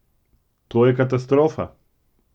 To je katastrofa!